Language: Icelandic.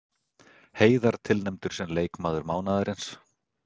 Heiðar tilnefndur sem leikmaður mánaðarins